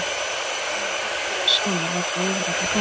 Þess vegna var eitt og hið sama látið yfir alla ganga.